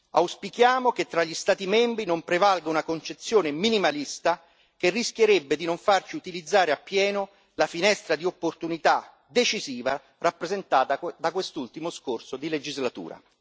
Auspichiamo che tra gli Stati membri non prevalga una concezione minimalista, che rischierebbe di non farci utilizzare appieno la finestra di opportunità decisiva rappresentata da quest'ultimo scorcio di legislatura.